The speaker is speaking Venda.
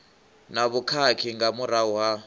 na vhukhakhi nga murahu ha